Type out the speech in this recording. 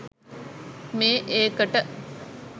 මේ ඒකට